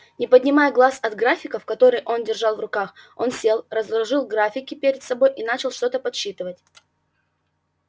не поднимая глаз от графиков которые он держал в руках он сел разложил графики перед собой и начал что-то подсчитывать